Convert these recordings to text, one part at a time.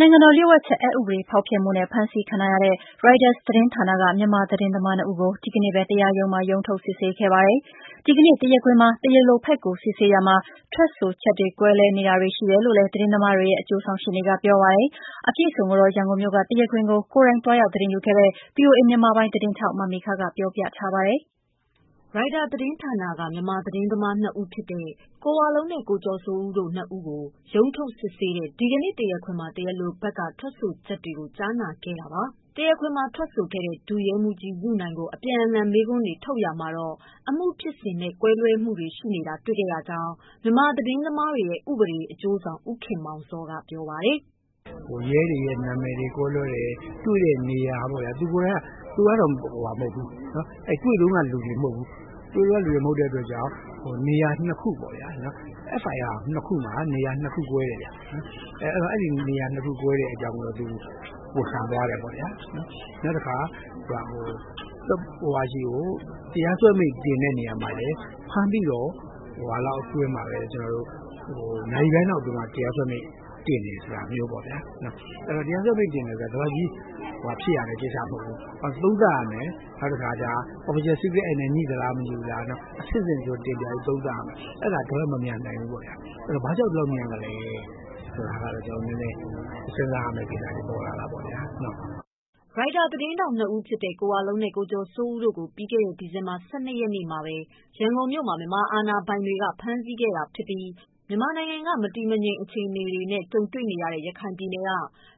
နိုင်ငံတော် လျို့ဝှက်ချက် အက်ဥပဒေ ဖောက်ဖျက်မှုနဲ့ ဖမ်းဆီးခံထားရတဲ့ Reuters သတင်းဌာနက မြန်မာသတင်းသမား ၂ ဦးကို ဒီကနေ့ပဲ တရားရုံးမှာ ရုံးထုတ်စစ်ဆေးခဲ့ပါတယ်။ ဒီကနေ့ တရားခွင်မှာ တရားလိုဘက်ကို စစ်ဆေးရာမှာ ထွက်ဆိုချက်တွေဟာ ကွဲလွဲချက်တွေ ရှိနေတယ်လို့လည်း သတင်းသမားတွေရဲ့ အကျိုး ဆောင်ရှေ့နေက ပြောပါတယ်။ လာမယ့် ဖေဖော်ဝါရီ ၁ရက်နေ့ မှာ ရုံးချိန်းပေးပြီး စစ်ဆေးသွားဦးမှာပါ။အပြည့်အစုံကိုတော့ ရန်ကုန်မြို့က တရားခွင်ကို ကိုယ်တိုင်သွားရောက် သတင်းယူခဲ့တဲ့ ဗွီအိုအေ မြန်မာပိုင်းသတင်းထောက် မေခ က ပြောပြပေးမှာ ဖြစ်ပါတယ်။ Reuters သတင်းဌာနက မြန်မာသတင်းသမား ၂ ဦးဖြစ်တဲ့ ကိုဝလုံးနဲ့ ကိုကျော်စိုးဦး တို့ ၂ ဦးကို ရုံးထုတ်စစ်ဆေးတဲ့ ဒီကနေ့ တရားခွင်မှာ တရားလိုဘက်ကထွက်ဆိုချက်တွေကို ကြားနာခဲ့တာပါ။ တရားခွင်မှာ ထွက်ဆိုခဲ့တဲ့ ဒုရဲမှူးကြီး ယုနိုင်ကို ပြန်လှန်မေးခွန်း ထုတ်ရာမှာတော့ အမှုဖြစ်စဉ်နဲ့ ကွဲလွဲမှုတွေ ရှိနေတာ တွေ့ခဲ့ရကြောင်း၊ မြန်မာသတင်းသမားတွေရဲ့ ဥပဒေအကျိုးဆောင် ဦးခင်မောင်ဇော် ကပြောပါတယ်။ "ရဲတွေနဲ့နာမည်တွေကွဲလွဲတယ်၊ နောက်တွေ့တဲ့နေရာပေါ့ဗျာ၊ သူကိုယ်တိုင်က ဖမ်းတဲ့အချိန်မှာ မပါဘူး တွေ့တုန်းက လူတော့မဟုတ်ဘူးပေါ့။ SIR ၂ခု ( ဖြစ်စဉ်အတွက် စစ်မေးချက်) မှာလည်းနေရာ ၂ခုကွဲနေတယ်။ အဲနေရာ၂ခုဖြစ်နေ တာကို သူဝန်ခံသွားတယ်ပေါ့ဗျာ၊ နောက်တခါဆိုရင်ဗျာ တရားစွဲမိန့်တင်တဲ့အခါမှာလည်း ဖမ်းပြီးတဲ့ နာရီပိုင်း အတွင်း မှာလည်း နာရီပိုင်းအတွင်း တရားစွဲတင်တာကလည်း တွေ့ရတယ်။ တရားစွဲတင်တာက ဒီလောက်ကြီး မြန်ရမှာမဟုတ် ဘူးပြန်သုံးသပ်ရမယ်။ official secret act နဲ့ငြိ မငြိဆိုတာ အဆင့်ဆင့်တင်ပြပြီး သုံးသပ်ရမယ်။ အဲဒါဒီလောက်မမြန် နိုင်ဘူးဗျ။ ဘာကြောင့်ဒီလောက်မြန်လဲဆိုတာ စဉ်းစားရမယ့် အချက်တွေ ပေါ်လာတာပေါ့ဗျာ" Reuters သတင်းထောက် ၂ ဦးဖြစ်တဲ့ ကိုဝလုံးနဲ့ ကိုကျော်စိုးဦး တို့ကိုတော့ ပြီးခဲ့တဲ ဒီဇင်ဘာ ၁၂ ရက်နေ့မှာပဲ ရန်ကုန်မြို့မှာ မြန်မာအာဏာပိုင်တွေက ဖမ်းဆီးခဲ့တာဖြစ်ပြီး၊ မြန်မာနိုင်ငံက မတည်မငြိမ် အခြေအနေတွေ ကြုံနေရတဲ့ ရခိုင်ပြည်နယ်က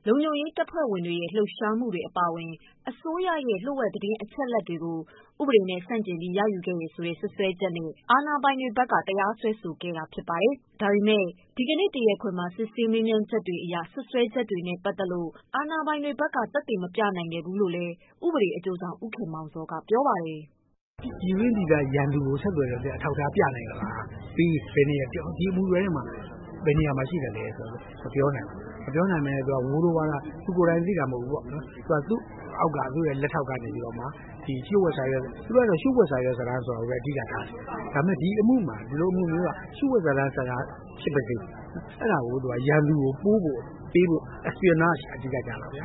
လုံခြုံရေးတပ်ဖွဲ့တွေရဲ့ လှုပ်ရှားမှုတွေ အပါအဝင် အစိုးရရဲ့ လျို့ဝှက်သတင်းအချက်အလက်တွေကို ဥပဒေနဲ့ ဆန့်ကျင်ပြီး ရယူခဲ့တယ်ဆိုတဲ့ စွပ်စွဲချက်နဲ့ အာဏာပိုင်တွေက တရားစွဲဆိုခဲ့တာ ဖြစ်ပါတယ်။ ဒါပေမဲ့လည်း ဒီကနေ့ တရားခွင်မှာ စစ်ဆေးမေးမြန်းချက်တွေအရ စွပ်စွဲချက်တွေနဲ့ ပတ်သက်လို့ အာဏာပိုင်တွေဘက်က သက်သေမပြနိုင်ခဲ့ဘူးလို့လည်း အကျိုးဆောင်ရှေ့နေ ဦးခင်မောင်ဇော်က ပြောပါတယ်။ " ပြည်တွင်းပြည်ပရန်သူကို ဆက်သွယ်တယ်ဆိုတဲ့ အထောက်အထားပြနိုင်သလား ဒီအမှုတွဲထဲမှာ ဘယ်နေရာမှာ သက်သေပြနိုင်လဲဆိုတာ မေးတော့လည်း မပြောနိုင်ဘူး ဝိုးတိုးဝါးတား သူကိုယ်တိုင်သိတာမဟုတ်ဘူးသူ့အောက်က လက်ထောက်ကနေပြီး တော့မှပေါ့။ သူတို့က အဓိက ဒီလျို့ဝှက်စာရွက်စာတမ်းကိုဘဲ အဓိကထားပြောတယ်။ ဒီလိုအမှုမျိုးက လျို့ဝှက်စာတမ်း ဖြစ်ပါစေ၊ အဲဒါကို ရန်သူကိုပို့ဖို့ပေးဖို့လုပ်တာက အဓိကကျတာပေါ့၊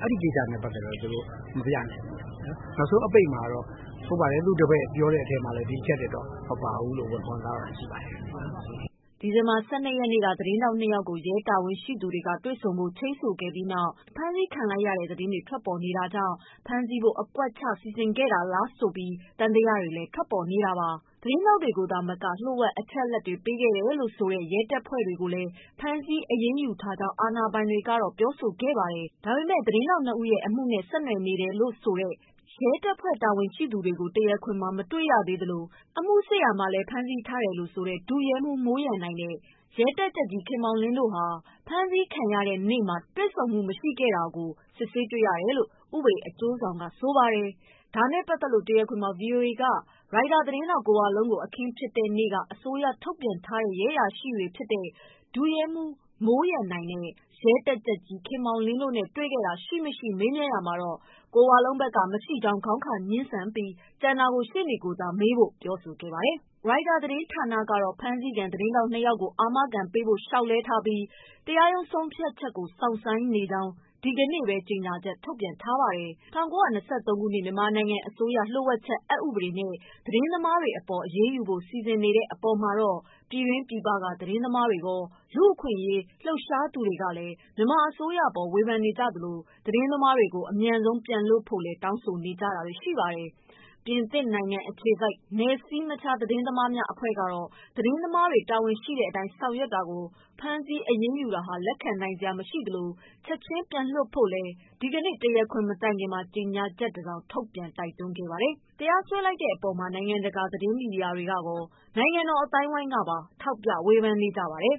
အဲဒီကိစ္စနဲ့ပတ်သတ်ပြီး သူတို့မပြနိုင်ဘူး။ နောက်ဆုံး အပိတ်မှာလည်း သူ့တပည့်ပြောတာမှာ ဒီအချက်တွေ မပါပါဘူးလို့ ပြောသွားပါတယ်" ဒီဇင်ဘာလ ၁၂ ရက်နေ့က သတင်းထောက် ၂ ယောက်ကို ရဲတာဝန်ရှိသူတွေက တွေ့ဆုံဖို့ ချိန်းဆိုပြီးနောက် ဖမ်းဆီးခံလိုက်ရတဲ့ သတင်းတွေ ထွက်ပေါ်ခဲ့တာကြောင့် ဖမ်းဆီးဖို့ အကွက်ချ စီစဉ်ခဲ့တာလားဆိုပြီး သံသယတွေလည်း ထွက်ပေါ်နေတာပါ။ သတင်းထောက်တွေကို သာမက လျို့ဝှက်အချက်အလက်တွေ ပေးအပ်ခဲ့တယ်လို့ဆိုတဲ့ ရဲတပ်ဖဲ့ွဝင်တွေကိုလည်း ဖမ်းဆီး အရေးယူထားကြောင်း အာဏာပိုင်တွေက ပြောဆိုခဲ့တာပါ။ ဒါပေမဲ့လည်း သတင်းထောက် ၂ ဦးရဲ့ အမှုနဲ့ ဆက်နွယ်နေ တယ်လို့ဆိုတဲ့ ရဲတပ်ဖွဲ့ တာဝန်ရှိသူတွေကို တရားခွင်မှာ မတွေ့ခဲ့ရသလို၊ အမှုစစ်ဆေး ရာမှာလည်း ဖမ်းဆီးထားတယ်လို့ဆိုတဲ့ ဒုရဲမှုး မိုးရန်နိုင်နဲ့ ရဲတပ်ကြပ်ကြီး ခင်မောင်လင်း တို့နဲ့ ဖမ်းဆီးခံရတဲ့နေ့မှာ တွေ့ဆုံမှုမရှိခဲ့ကြောင်း တွေ့ရှိခဲ့ရတယ်လို့ အကျိုးဆောင်ရှေ့နေက ပြောပါတယ်။ ဒါနဲ့ပတ်သတ်လို့ တရားခွင်မှာ ဗွီအိုအေက ရိုက်တာ သတင်းထောက် ကိုဝလုံး ကို အခင်းဖြစ်နေ့ က အစိုးရထုတ်ပြန် ထားတဲ့ ရဲအရာရှိ တွေဖြစ်တဲ့ ဒုရဲမှုး မိုးရန်နိုင်နဲ့ ရဲတပ်ကြပ်ကြီး ခင်မောင်လင်း တို့နဲ့တွေ့ခဲ့တာ ရှိမရှိမေးရာမှာ ကိုဝလုံး ဘက်က မရှိကြောင်း ခေါင်းခါငြင်းဆန်ပြီး ကျန်တာကို ရှေ့နေကိုသာမေးဖို့ပြောဆိုခဲ့ပါတယ်။ Reuter သတင်းဌာနကတော့ ဖမ်းဆီးခံသတင်းထောက် ၂ ယောက်ကို အာမခံပေးဖို့ လျှောက်လဲထားပြီး၊ တရားရုံး ဆုံးဖြတ်ချက်ကို စောင့်ဆိုင်းနေကြောင်း ဒီကနေ့ပဲ ကြေညာချက် ထုတ်ပြန်ခဲ့ပါတယ်။ ၁၉၂၃ ခုနှစ် မြန်မာနိုင်ငံ အစိုးရလျို့ဝှက်ချက် အက်ဥပဒေနဲ့ သတင်းသမားတွေအပေါ် အရေးယူဖို့ စီစဉ်နေတဲ့ အပေါ်မှာတော့ ပြည်တွင်းပြည်ပက သတင်းသမားတွေ၊ လူ့အခွင့်အရေးအဖွဲ့တွေကလည်း မြန်မာအစိုးရအပေါ် ဝေဖန်နေကြသလို၊ သတင်းသမားတွေကို အမြန်ဆုံးပြန်လွှတ်ဖို့လည်း တောင်းဆိုနေကြတာပါ။ ပြင်သစ်နိုင်ငံအခြေစိုက် နယ်စည်းမခြား သတင်းသမားများ အဖွဲ့ကတော့ သတင်းသမားတွေ တာဝန်ရှိတဲ့အတိုင်း ဆောင်ရွက်တာကို ဖမ်းဆီးအရေးယူတာဟာ လက်ခံနိုင်စရာ မရှိသလို ချက်ခြင်းပြန်လွှတ်ဖို့လည်း ဒီကနေ့ တရားခွင် မတိုင်ခင်မှာပဲ ကြေညာချက်တစောင် ထုတ်ပြန် တိုက်တွန်းခဲ့ပါတယ်။ တရားစွဲ လိုက်တဲ့အပေါ်မှာ နိုင်ငံတကာ သတင်းမီဒီယာတွေကကော နိုင်ငံတော်အသိုင်းအဝိုင်းကပါ ထောက်ပြ ဝေဖန် နေကြပါတယ်။